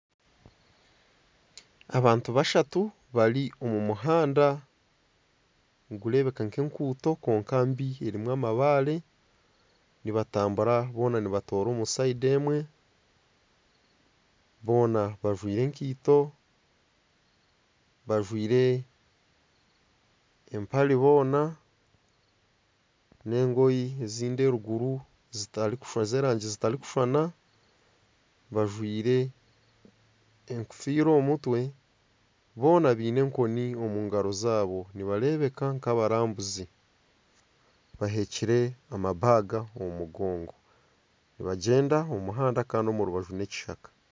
Abantu bashatu bari omu muhanda, nigureebeka nk'enguuto kwonka mbi erimu amabaare. Nibatambura boona nibatoora omu rubaju rumwe. Boona bajwaire enkaito, bajwaire empare bona, n'engoyi ezindi eruguru zitarikushusha z'erangi zitarikushushana. Bajwaire enkofiira omu mutwe. Boona baine enkoni omu ngaro zaabo, nibareebeka nk'abarambuzi. Baheekire enshaho omu mugongo, nibagyenda omu muhanda kandi omu rubaju n'ekishaka.